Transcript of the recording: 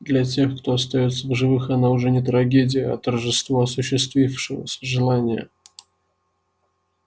для тех же кто остаётся в живых она уже не трагедия а торжество осуществившегося желания